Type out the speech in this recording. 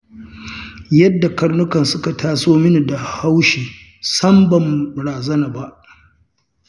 Yadda karnukan suka taso min da haushi, sam ban wani razana ba.